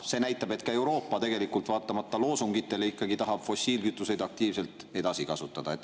See näitab, et ka Euroopa, vaatamata loosungitele, ikkagi tahab fossiilkütuseid aktiivselt edasi kasutada.